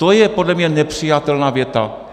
To je podle mě nepřijatelná věta.